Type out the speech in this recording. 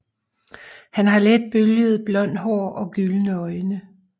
Han har let bølget blond hår og gyldne øjne